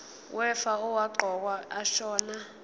wefa owaqokwa ashona